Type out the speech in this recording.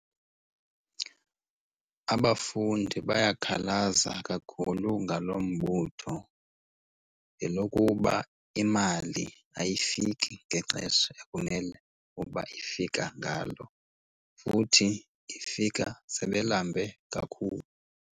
Abafundi bayakhalaza kakhulu ngalo mbutho ngelokuba imali ayifiki ngexesha ekumele uba ifika ngalo. Futhi ifika sebelambe kakhulu.